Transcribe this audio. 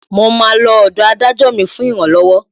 Mo máa lọ ọ̀dọ̀ Adájọ́ mi fún ìrànlọ́wọ́